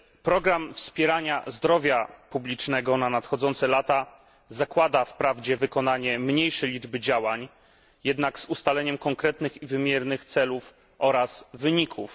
Program wspierania zdrowia publicznego na nadchodzące lata zakłada wprawdzie wykonanie mniejszej liczby działań, jednak z ustaleniem konkretnych i wymiernych celów oraz wyników.